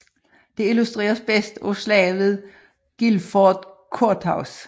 Det illustreres bedst af Slaget ved Guilford Courthouse